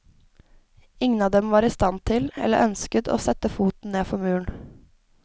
Ingen av dem var i stand til, eller ønsket, å sette foten ned for muren.